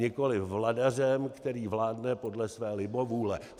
Nikoliv vladařem, který vládne podle své libovůle.